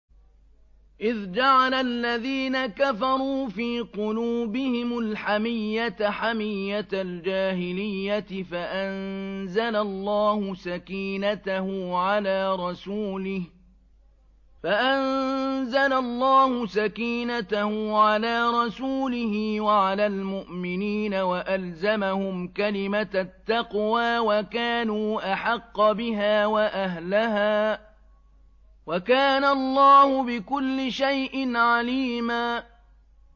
إِذْ جَعَلَ الَّذِينَ كَفَرُوا فِي قُلُوبِهِمُ الْحَمِيَّةَ حَمِيَّةَ الْجَاهِلِيَّةِ فَأَنزَلَ اللَّهُ سَكِينَتَهُ عَلَىٰ رَسُولِهِ وَعَلَى الْمُؤْمِنِينَ وَأَلْزَمَهُمْ كَلِمَةَ التَّقْوَىٰ وَكَانُوا أَحَقَّ بِهَا وَأَهْلَهَا ۚ وَكَانَ اللَّهُ بِكُلِّ شَيْءٍ عَلِيمًا